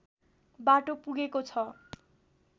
बाटो पुगेको छ